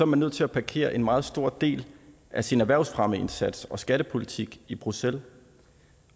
man nødt til at parkere en meget stor del af sin erhvervsfremmeindsats og skattepolitik i bruxelles